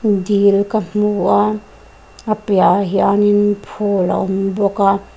dil ka hmu a a piah ah hianin phul a awm bawk a.